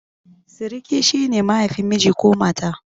Siriki shi ne mahaifin miji ko mata.